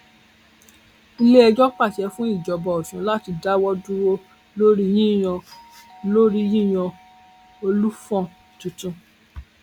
iléẹjọ pàṣẹ fún ìjọba ọsùn láti dáwọ dúró lórí yíyan lórí yíyan olùfọ̀n tuntun